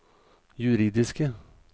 juridiske